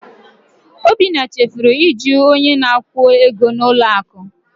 Obinna chefuru iju onye na-akwụ ego n'ụlọ akụ.